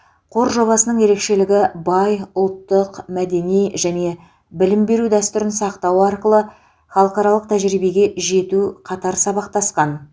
қор жобасының ерекшелігі бай ұлттық мәдени және білім беру дәстүрін сақтау арқылы халықаралық тәжірибеге жету қатар сабақтасқан